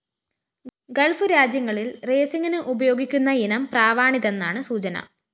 Gulf രാജ്യങ്ങളിൽ റേസിംഗിന് ഉയോഗിക്കുന്നയിനം പ്രാവാണിതെന്നാണ് സൂചന